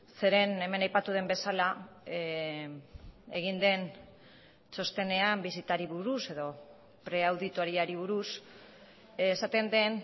zeren hemen aipatu den bezala egin den txostenean bisitari buruz edo preauditoriari buruz esaten den